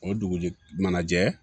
O dugujɛ mana jɛ